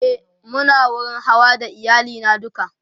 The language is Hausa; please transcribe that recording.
e Muna wurin Hawa da iyali na duka